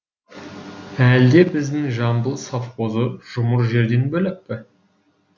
әлде біздің жамбыл совхозы жұмыр жерден бөлек пе